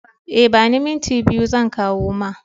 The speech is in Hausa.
E, ba ni minti biyu zan kawo ma.